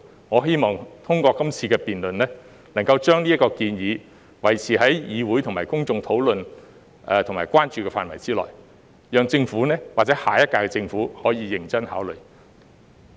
我希望透過今次辯論，能夠將這項建議維持在議會和公眾討論及關注的範圍之內，讓政府或下一屆政府可以認真考慮。